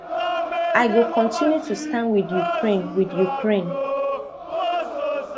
i go continue to stand wit ukraine wit ukraine